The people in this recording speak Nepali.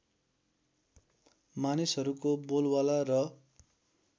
मानिसहरूको बोलवाला र